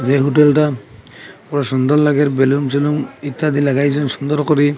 যে হোটেলটা পুরো সুন্দর লাগের বেলুন ঠেলুন ইত্যাদি লাগাইছে এরম সুন্দর করি।